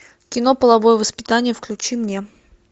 кино половое воспитание включи мне